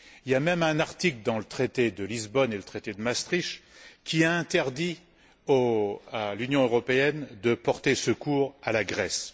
Il y a même un article dans le traité de Lisbonne et le traité de Maastricht qui a interdit à l'Union européenne de porter secours à la Grèce.